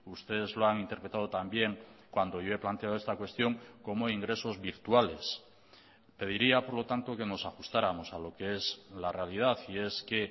ustedes lo han interpretado también cuando yo he planteado esta cuestión como ingresos virtuales pediría por lo tanto que nos ajustáramos a lo que es la realidad y es que